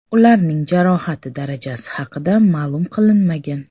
Ularning jarohati darajasi haqida ma’lum qilinmagan.